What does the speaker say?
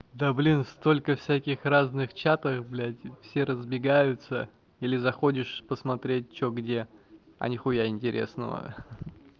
да блин столько всяких разных чатов блядь все разбегаются или заходишь посмотреть что где а нихуя интересного